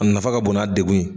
A nafa ka bon' a degun ye.